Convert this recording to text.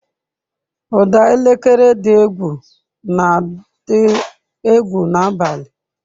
Ụda elekere dị n'ụlọ na-adị egwu n'abalị.